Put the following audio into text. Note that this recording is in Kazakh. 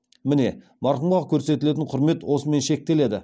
міне марқұмға көрсетілетін құрмет осымен шектеледі